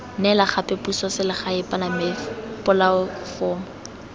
neela gape puso selegae polatefomo